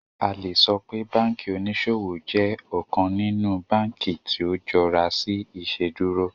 A le sọ pe banki oniṣowo jẹ ọkan ninu banki ti o jọra si Iṣeduro